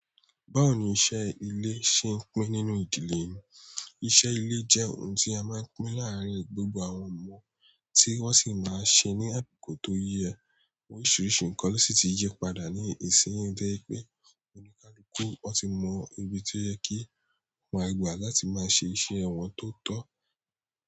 Báwo ni iṣẹ́ ile ṣe n pín nínú ìdílé yin? Iṣẹ́ ilé jẹ́ ohun tí a maa n pín láàrín gbogbo àwọn ọmọ ti wọn si maa n ṣe ni akoko to yẹ. Oríṣiríṣi nkan ló sì ti yí padà ní ìsin yi to jẹ́ pé oníkálukú tí mọ ibi tí ó yẹ kí wọ́n àgbà láti máa ṣe iṣẹ́ wọn tó tọ́.